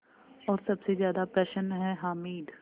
और सबसे ज़्यादा प्रसन्न है हामिद